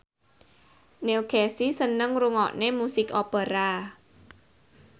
Neil Casey seneng ngrungokne musik opera